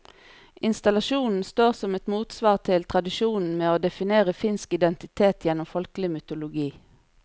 Installasjonen står som et motsvar til tradisjonen med å definere finsk identitet gjennom folkelig mytologi.